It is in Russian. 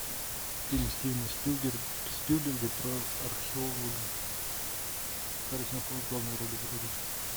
фильм стивена спилберга про археолога харрисон форд в главной роли вроде